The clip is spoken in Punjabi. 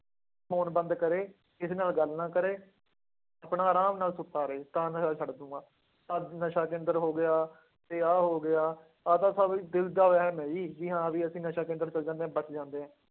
Phone ਬੰਦ ਕਰੇ ਕਿਸੇ ਨਾਲ ਗੱਲ ਨਾ ਕਰੇ, ਆਪਣਾ ਆਰਾਮ ਨਾ ਸੁੱਤਾ ਰਹੇ, ਤਾਂ ਨਸ਼ਾ ਛੱਡ ਦਊਂਗਾ, ਆਹ ਨਸ਼ਾ ਕੇਂਦਰ ਹੋ ਗਿਆ ਤੇ ਆਹ ਹੋ ਗਿਆ, ਆਹ ਤਾਂ ਸਭ ਦਿਲ ਦਾ ਵਹਿਮ ਹੈ ਜੀ, ਜੀ ਹਾਂ ਵੀ ਅਸੀਂ ਨਸ਼ਾ ਕੇਂਦਰ ਚਲੇ ਜਾਂਦੇ ਹਾਂ ਬਚ ਜਾਂਦੇ ਹਾਂ।